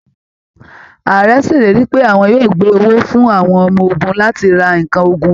Ààrẹ ṣèlérí pé àwọn yóò gbé owó fún àwọn ọmọ ogun láti ra nǹkan ogun